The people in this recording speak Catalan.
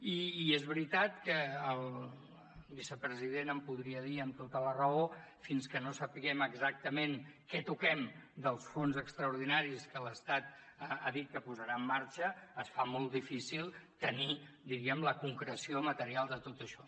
i és veritat que el vicepresident em podria dir amb tota la raó que fins que no sapiguem exactament què toquem dels fons extraordinaris que l’estat ha dit que posarà en marxa es fa molt difícil tenir diríem la concreció material de tot això